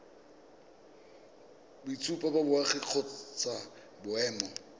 boitshupo ba boagi kgotsa boemo